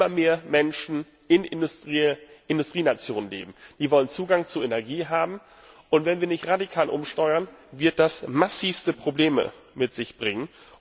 Wenn immer mehr Menschen in Industrienationen leben und Zugang zu Energie haben wollen und wenn wir nicht radikal umsteuern, wird das massivste Probleme mit sich bringen.